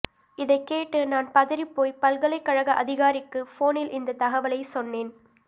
இதைக்கேட்டு நான் பதறிப்போய் பல்கலைக்கழக அதிகாரிக்கு போனில் இந்த தகவலை சொன்னேன்